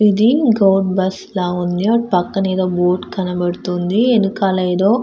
ఇది బస్సు ల ఉంది. అటు పక్కన ఎదో బోర్డు కనబడుతుంది. వెనకాల ఎదో --